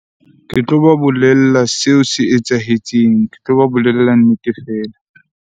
Ke tloba bolella seo se etsahetseng. Ke tloba bolella nnete fela.